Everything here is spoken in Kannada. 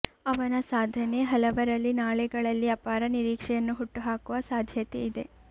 ಅವನ ಸಾಧನೆ ಹಲವರಲ್ಲಿ ನಾಳೆಗಳಲ್ಲಿ ಅಪಾರ ನಿರೀಕ್ಷೆಯನ್ನು ಹುಟ್ಟುಹಾಕುವ ಸಾಧ್ಯತೆ ಇದೆ